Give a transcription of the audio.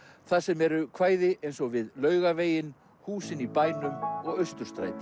þar sem eru kvæði eins og við Laugaveginn húsin í bænum og Austurstræti